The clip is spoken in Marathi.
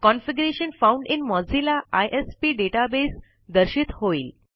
configuration found in Mozilla ISP database दर्शित होईल